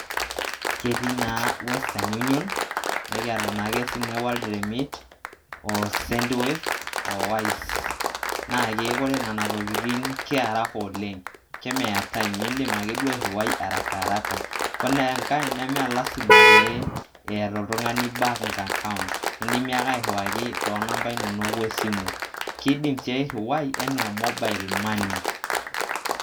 Ketii naa, western union, nekiata naake sinye world remit, o send wave o wise. Naake kore nana tokitin, kearaka oleng' kemeya time indim akeduo airiwai arakaraka. Kore enkai mee lazima pee eeta oltung'ani bank account indimi ake airiwaki too namba inonok esimu. Kiidim sii airiwai enaa mobile money.